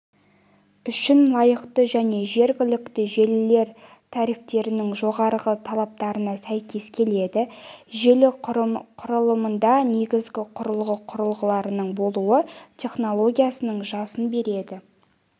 үшін лайықты және жергілікті желілер трафиктерінің жоғарғы талаптарына сәйкес келеді желі құрылымында негізгі құрылғы құрылғыларының болуы технологиясының жасын береді